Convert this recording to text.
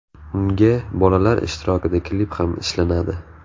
Unga bolalar ishtirokida klip ham ishlanadi.